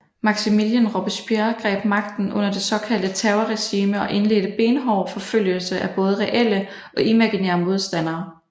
Maximilien Robespierre greb magten under det såkaldte terorregime og indledte benhård forfølgelse af både reelle og imaginære modstandere